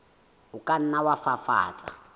o ka nna wa fafatsa